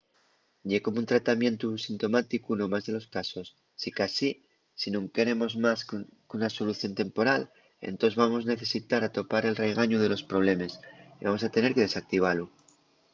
ye como un tratamientu sintomáticu nos más de los casos. sicasí si nun queremos más qu’una solución temporal entós vamos necesitar atopar el raigañu de los problemes y vamos tener que desactivalu